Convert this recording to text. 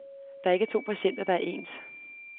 Der er ikke to patienter, der er ens.